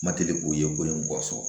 Ma deli k'o ye ko in kɔsɔn